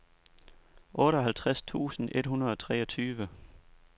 otteoghalvtreds tusind et hundrede og treogtyve